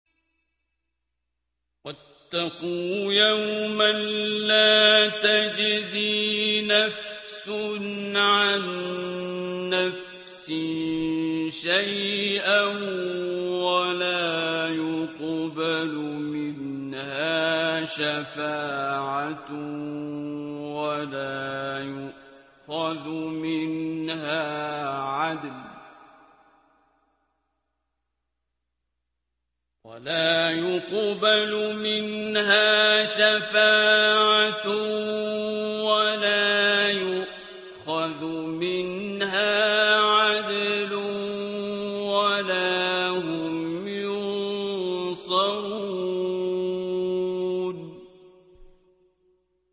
وَاتَّقُوا يَوْمًا لَّا تَجْزِي نَفْسٌ عَن نَّفْسٍ شَيْئًا وَلَا يُقْبَلُ مِنْهَا شَفَاعَةٌ وَلَا يُؤْخَذُ مِنْهَا عَدْلٌ وَلَا هُمْ يُنصَرُونَ